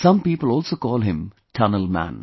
Some people also call him Tunnel Man